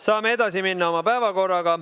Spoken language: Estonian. Saame edasi minna oma päevakorraga.